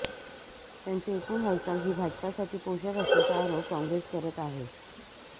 त्यांची एकूण हालचाल ही भाजपसाठी पोषक असल्याचा आरोप काँग्रेस करत आहे